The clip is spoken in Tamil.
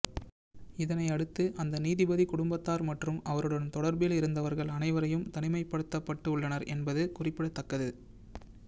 இதனை அடுத்து அந்த நீதிபதி குடும்பத்தார் மற்றும் அவருடன் தொடர்பில் இருந்தவர்கள் அனைவரும் தனிமைப்படுத்தப்பட்டு உள்ளனர் என்பது குறிப்பிடத்தக்கது